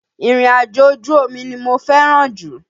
Ìrìnàjò ojú omi ni mo fẹ́ràn jù.